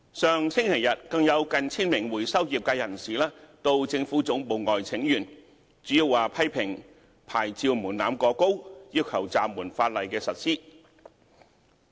上星期日，更有近 1,000 名回收業界人士到政府總部外請願，主要批評牌照門檻過高，要求暫緩法例實施。